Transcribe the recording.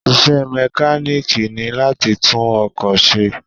Isẹ́ mẹkánìkì ni láti tún ọkọ̀ ṣe